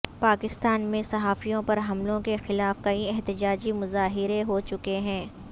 پاکستان میں صحافیوں پر حملوں کے خلاف کئی احتجاجی مظاہرے ہو چکے ہیں